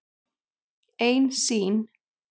Ein sýn.